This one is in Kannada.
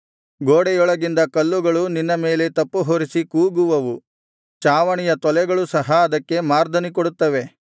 ಗೋಡೆಯೊಳಗಿಂದ ಕಲ್ಲುಗಳು ನಿನ್ನ ಮೇಲೆ ತಪ್ಪುಹೊರಿಸಿ ಕೂಗುವವು ಚಾವಣಿಯ ತೊಲೆಗಳು ಸಹ ಅದಕ್ಕೆ ಮಾರ್ದನಿ ಕೊಡುತ್ತವೆ